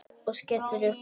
Og skellir upp úr.